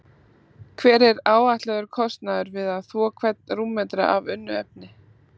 Hver er áætlaður kostnaður við að þvo hvern rúmmetra af unnu efni?